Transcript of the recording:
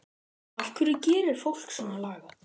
En af hverju gerir fólk svona lagað?